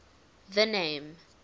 the name